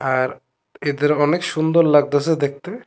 আর এদের অনেক সুন্দর লাগতাসে দেখতে।